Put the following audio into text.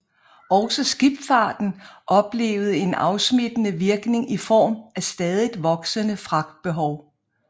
Også skibsfarten oplevede en afsmittende virkning i form af stadigt voksende fragtbehov